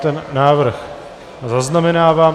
Ten návrh zaznamenávám.